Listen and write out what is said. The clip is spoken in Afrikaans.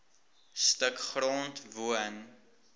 stuk grond woon